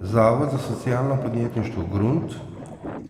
Zavod za socialno podjetništvo Grunt,